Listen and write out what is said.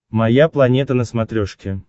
моя планета на смотрешке